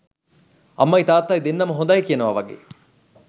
අම්මයි තාත්තයි දෙන්නම හොඳයි කියනවා වගේ.